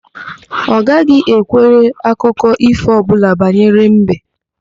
Ọ gaghị ekwere akụkọ ífò ọbụla banyere mbe.